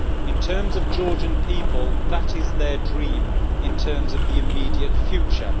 In terms of the Georgian people, that is their dream in terms of the immediate future.